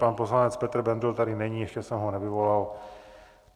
Pan poslanec Petr Bendl tady není, ještě jsem ho nevyvolal.